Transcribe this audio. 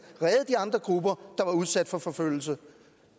redde de andre grupper der var udsat for forfølgelse